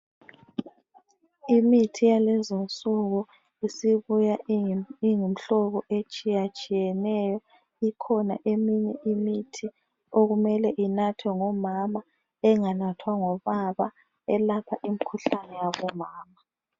Imithi yalezinsuku isibuya iyimhlobo etshiyatshiyeneyo ikhona eminye imithi okumele inathwe ngomama enganathwa ngobaba elapha umkhuhlane wabomama.